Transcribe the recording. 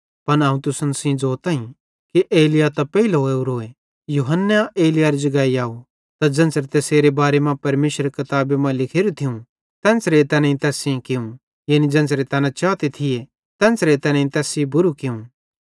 पन अवं तुसन सेइं ज़ोतईं कि एलिय्याह त पेइले ओरोए यूहन्ना एलिय्याहरे जगाई आव त ज़ेन्च़रां तैसेरे बारे मां परमेशरेरी किताबी मां लिखोरू थियूं तेन्च़रां तैनेईं तैस सेइं कियूं यानी ज़ेन्च़रां तैना चाते थिये तेन्च़रां तैनेईं तैस सेइं बुरू कियूं